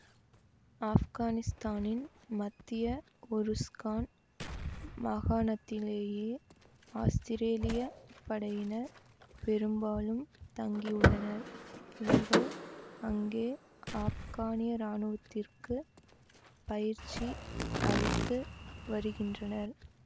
ஆப்கானித்தானின் மத்திய உருஸ்கான் மாகாணத்திலேயே ஆஸ்திரேலியப் படையினர் பெரும்பாலும் தங்கியுள்ளனர் இவர்கள் அங்கே ஆப்கானிய இராணுவத்தினருக்கு பயிற்சி அளித்து வருகின்றனர்